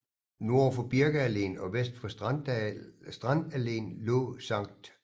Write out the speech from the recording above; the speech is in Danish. Nord for Birkealleen og vest for Strandalleen lå Skt